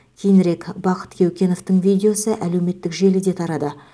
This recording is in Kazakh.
кейінірек бақыт кеукеновтың видеосы әлеуметтік желіде тарады